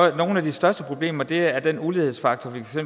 af de største problemer er er den ulighedsfaktor vi for